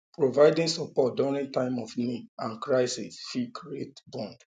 providing support during time of need um and crisis fit um create bond